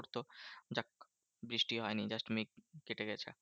বৃষ্টি হয়নি just মেঘ কেটে গেছে।